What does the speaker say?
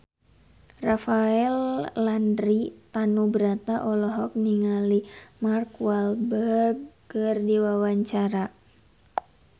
Rafael Landry Tanubrata olohok ningali Mark Walberg keur diwawancara